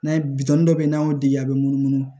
N'a ye bitɔn dɔ bɛ yen n'an y'o di a bɛ munumunu